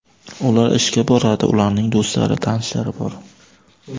Ular ishga boradi, ularning do‘stlari, tanishlari bor.